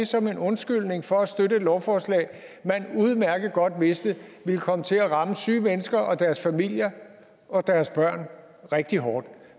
som en undskyldning for at støtte et lovforslag man udmærket godt vidste ville komme til at ramme syge mennesker og deres familier og deres børn rigtig hårdt